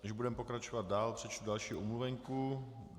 Než budeme pokračovat dál, přečtu další omluvenku.